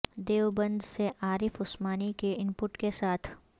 دیوبند سے عارف عثمانی کے input کے ساتھ